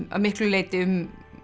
að miklu leyti um